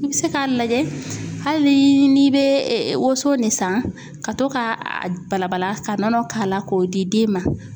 I be se ka lajɛ hali ni ni be woso ne san ka to ka a bala bala ka nɔnɔ k'a la k'o di den ma